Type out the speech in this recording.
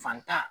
Fantan